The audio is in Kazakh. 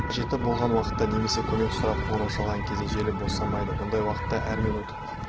қажет болған уақытта немесе көмек сұрап қоңырау шалған кезде желі босамайды бұндай уақытта әр минут